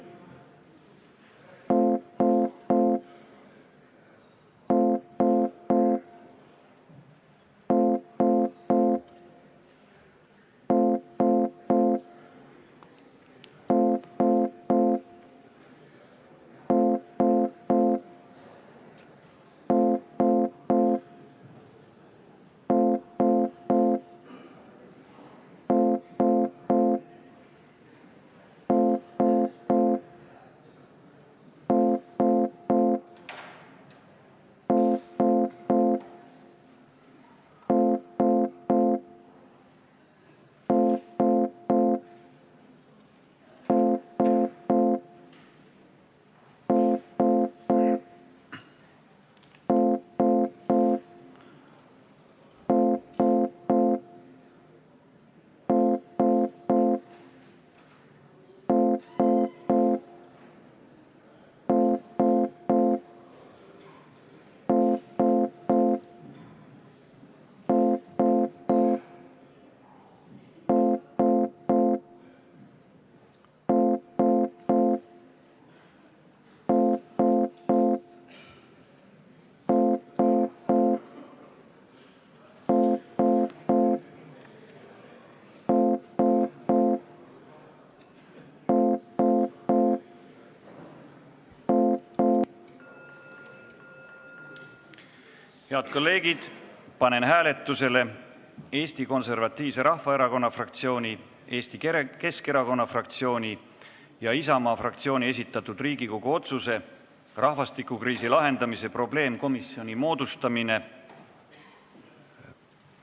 Head kolleegid, panen hääletusele Eesti Konservatiivse Rahvaerakonna fraktsiooni, Eesti Keskerakonna fraktsiooni ja Isamaa fraktsiooni esitatud Riigikogu otsuse "Rahvastikukriisi lahendamise probleemkomisjoni moodustamine" eelnõu.